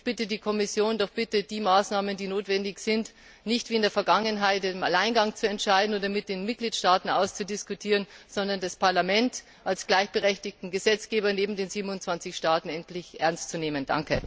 Ich bitte die Kommission, die Maßnahmen, die notwendig sind, doch nicht wie in der Vergangenheit im Alleingang zu beschließen oder mit den Mitgliedstaaten auszudiskutieren, sondern das Parlament als gleichberechtigten Gesetzgeber neben den 27 Staaten endlich ernst zu nehmen.